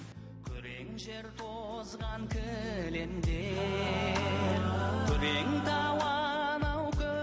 күрең жер тозған кілемдер күрең тау анау